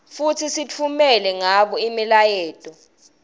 futsi sitfumela ngabo imiyaleto